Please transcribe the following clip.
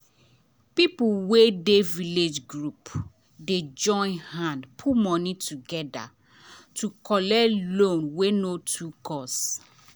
people wey dey village group dey join hand put money together to collect loan wey no too cost.